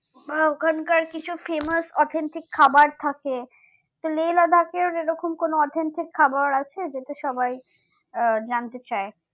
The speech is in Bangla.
মানে ওখান কার কিছু famous authentic খাবার থাকে তা লে লাদাখের এইরকম কোনো authentic খাবার আছে যেটা সবাই আহ জানতে চাই